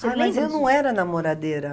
mas não era namoradeira.